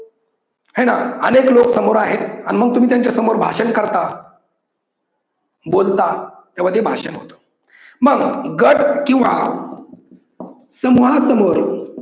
हाय ना! अनेक लोक समोर आहेत आणि मग तुम्ही त्यांच्या समोर भाषण करता, बोलता तेव्हा ते भाषण होतं. मग गट किव्वा समूहा समोर